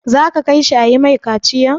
Za ka kai shi a yi mai kaciyan?